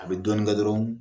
A bɛ dɔɔnin kɛ dɔrɔn